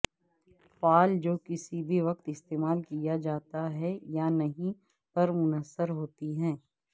فعل جو کسی بھی وقت استعمال کیا جاتا ہے یا نہیں پر منحصر ہوتی ہے